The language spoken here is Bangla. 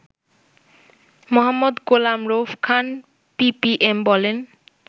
মো. গোলাম রউফ খান পিপিএম বলেন